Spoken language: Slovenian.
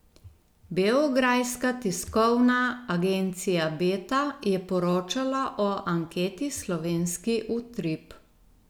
Beograjska tiskovna agencija Beta je poročala o anketi Slovenski utrip.